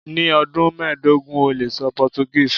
Ni ọdun mẹdogun o le sọ Portuguese